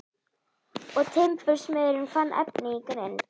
Og timbursmiðurinn fann efni í grind.